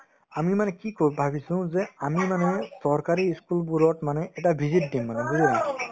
আমি মানে কি কৰো ভাবিছো যে আমি মানে চৰকাৰী ই school বোৰত মানে এটা visit দিম মানে বুজিলা